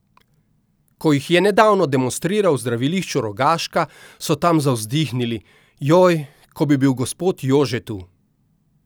Ko jih je nedavno demonstriral v zdravilišču Rogaška, so tam zavzdihnili: 'Joj, ko bi bil gospod Jože tu.